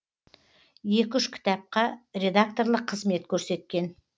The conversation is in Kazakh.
екі үш кітапқа редакторлық қызмет көрсеткен